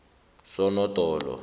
sonodolo